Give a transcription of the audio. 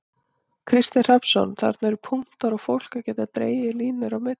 Kristinn Hrafnsson: Þarna eru bara punktar og fólk á að geta dregið línur á milli?